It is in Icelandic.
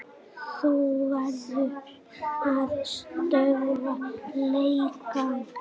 Þú verður að stöðva lekann.